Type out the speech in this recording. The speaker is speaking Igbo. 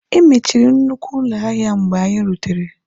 E mechiri nnukwu ụlọ ahịa mgbe anyị rutere.